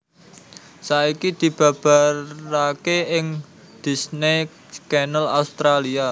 Saiki dibabaraké ing Disney Channel Australia